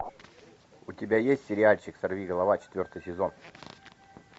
у тебя есть сериальчик сорвиголова четвертый сезон